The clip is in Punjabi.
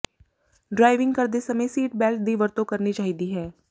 ਡਰਾਈਵਿੰਗ ਕਰਦੇ ਸਮੇਂ ਸੀਟ ਬੈਲਟ ਦੀ ਵਰਤੋਂ ਕਰਨੀ ਚਾਹੀਦੀ ਹੈ